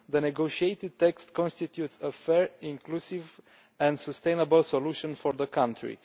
The negotiated text constitutes a fair, inclusive and sustainable solution for the country.